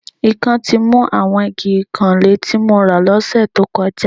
Ikán ti mu àwọn igi ìkanlé tí mo rà lọ́sẹ̀ tó kọjá